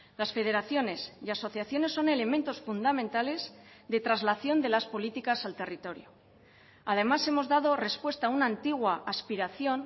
las federaciones y asociaciones son elementos fundamentales de traslación de las políticas al territorio además hemos dado respuesta a una antigua aspiración